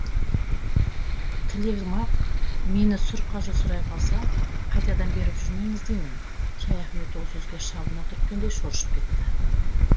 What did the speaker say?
тілегім ақ мені сұр қажы сұрай қалса қайтадан беріп жүрмеңіз деймін шаяхмет ол сөзге шабына түрткендей шоршып кетті